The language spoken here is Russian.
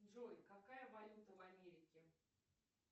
джой какая валюта в америке